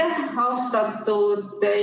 Aitäh!